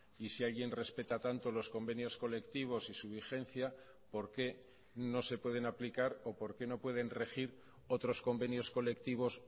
y si alguien respeta tanto los convenios colectivos y su vigencia por qué no se pueden aplicar o por qué no pueden regir otros convenios colectivos